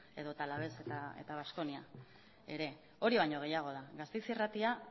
edota alaves eta baskonia ere hori baino gehiago da gasteiz irratia